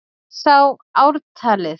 Ég sá ártalið!